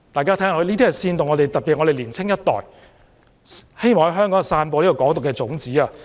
這是在煽動本港的年輕一代，希望在香港散播"港獨"的種子。